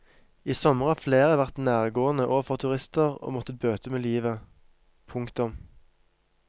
I sommer har flere vært nærgående overfor turister og måttet bøte med livet. punktum